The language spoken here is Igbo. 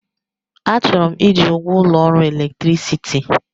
Achọrọ m iji ụgwọ ụlọ ọrụ electicity